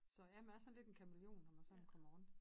Så ja man er sådan lidt en kamæleon når man sådan kommer rundt